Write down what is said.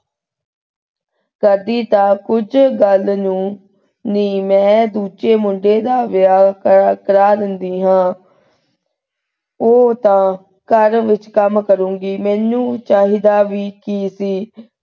ਕਰਦੀ ਤਾਂ ਕੁੱਜ ਗਲ ਨੂੰ ਨੀ ਮੈਂ ਦੂਜੇ ਮੁੰਡੇ ਦਾ ਵਿਆਹ ਕਰਾ ਦੇਂਦੀ ਹਾਂ ਉਹ ਤਾਂ ਘਰ ਵਿਚ ਕੰਮ ਕਰੂਗੀ ਮੈਨੂੰ ਚਾਹੀਦਾ ਵੀ ਕੀ ਸੀ।